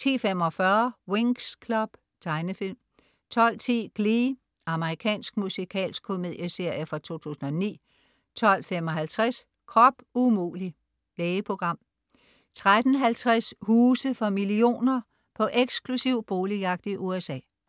10.45 Winx Club. Tegnefilm 12.10 Glee. Amerikansk musikalsk komedieserie fra 2009 12.55 Krop umulig! Lægeprogram 13.50 Huse for millioner. På eksklusiv boligjagt i USA